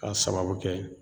K'a sababu kɛ